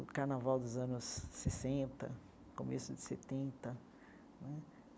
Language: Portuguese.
O carnaval dos anos sessenta, começo de setenta né.